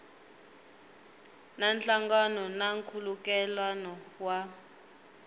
na nhlangano na nkhulukelano wa